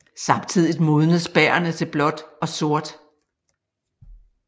Samtidigt modnes bærrene til blåt og sort